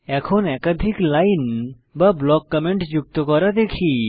এখন একাধিক লাইন বা ব্লক কমেন্ট যুক্ত করা শিখি